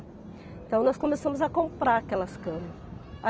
Então nós começamos a comprar aquelas camas.